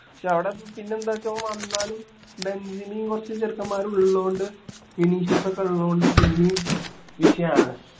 പക്ഷെ അവിടെ എന്താച്ച ഓൻ വന്നാലും ബെഞ്ചിമയും കുറച്ച് ചെറുക്കൻമാരും ഉള്ളോണ്ട് വിനീഷ്യസ് ഒക്കെ ഉള്ളോണ്ട് പിന്നേം വിഷയം ആണ്